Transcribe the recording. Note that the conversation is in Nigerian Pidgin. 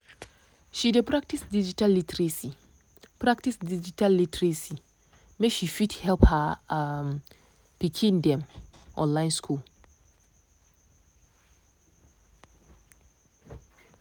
she dey practice digital literacy practice digital literacy make she fit help her um pikin dem online school.